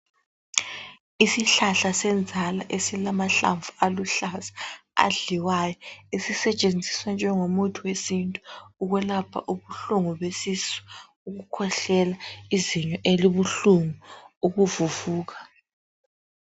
Isihlahla senzala esilamahlamvu aluhlaza, adliwayo. Esisetshenziswa njengomuthi wesintu. Ukwelapha ubuhlungu besisu, ukukhwehlela , izinyo elibuhlungu, ukuvuvuka